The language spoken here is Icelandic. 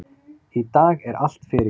Í dag er allt fyrirgefið.